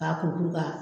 K'a kuru kuru ka